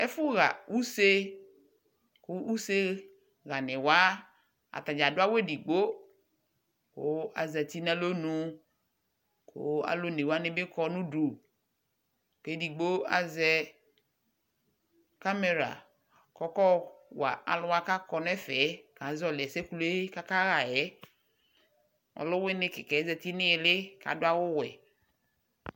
Ɛfʋɣa use kʋ useɣani wa, atadza adʋ awu ɛdigbo kʋ azati nʋ alɔnʋ kʋ alʋ one wani bi kɔ nʋ udu kʋ ɛdigbo azɛ kamɛra kʋ ɔkayɔwa alʋ wa kakɔ nɛfɛ ɛ, kazɔli ɛsɛ yɛ boa kʋ akaɣa yɛ Ɔlʋwini kika yɛ zati nʋ ili kadʋ awʋ wɛ